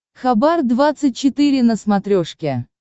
хабар двадцать четыре на смотрешке